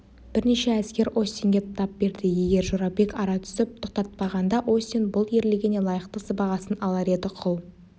бірнеше әскер остинге тап берді егер жорабек ара түсіп тоқтатпағанда остин бұл ерлігіне лайықты сыбағасын алар еді құл